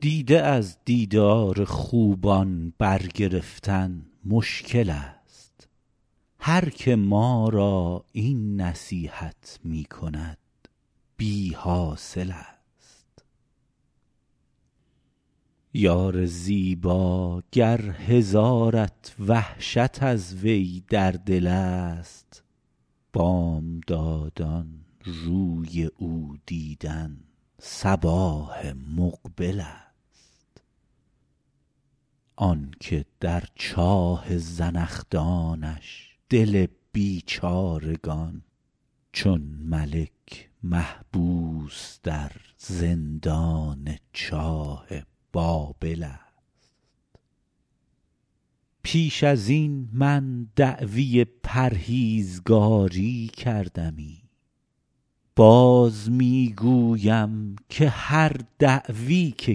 دیده از دیدار خوبان برگرفتن مشکل ست هر که ما را این نصیحت می کند بی حاصل ست یار زیبا گر هزارت وحشت از وی در دل ست بامدادان روی او دیدن صباح مقبل ست آن که در چاه زنخدانش دل بیچارگان چون ملک محبوس در زندان چاه بابل ست پیش از این من دعوی پرهیزگاری کردمی باز می گویم که هر دعوی که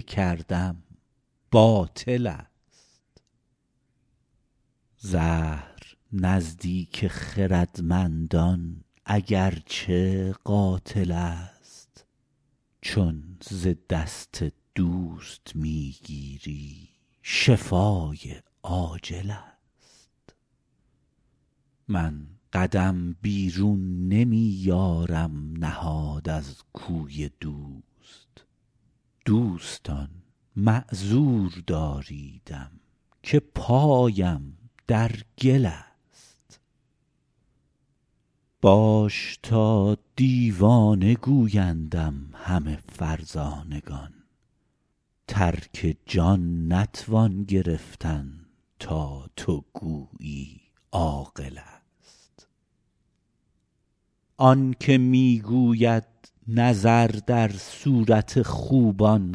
کردم باطل ست زهر نزدیک خردمندان اگر چه قاتل ست چون ز دست دوست می گیری شفای عاجل ست من قدم بیرون نمی یارم نهاد از کوی دوست دوستان معذور داریدم که پایم در گل ست باش تا دیوانه گویندم همه فرزانگان ترک جان نتوان گرفتن تا تو گویی عاقل ست آن که می گوید نظر در صورت خوبان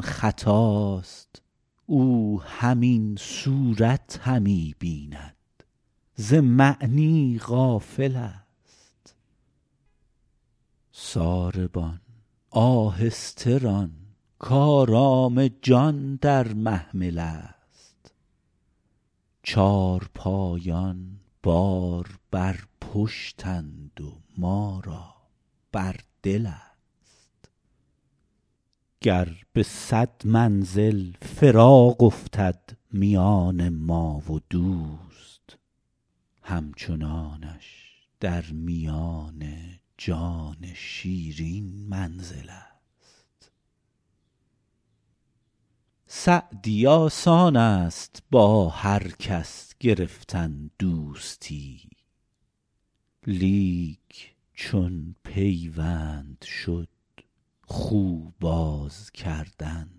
خطاست او همین صورت همی بیند ز معنی غافل ست ساربان آهسته ران کآرام جان در محمل ست چارپایان بار بر پشتند و ما را بر دل ست گر به صد منزل فراق افتد میان ما و دوست همچنانش در میان جان شیرین منزل ست سعدی آسان ست با هر کس گرفتن دوستی لیک چون پیوند شد خو باز کردن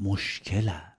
مشکل ست